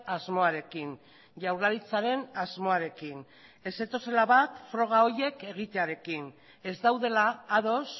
asmoarekin jaurlaritzaren asmoarekin ez zetozela bat froga horiek egitearekin ez daudela ados